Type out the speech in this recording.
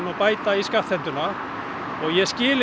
að bæta í skattheimtu og ég skil